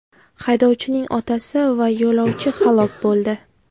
Haydovchining otasi va yo‘lovchi halok bo‘ldi.